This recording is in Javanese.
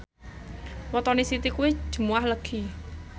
wetone Siti kuwi Jumuwah Legi